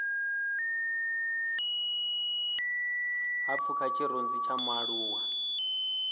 ha pfuka tshirunzi tsha mualuwa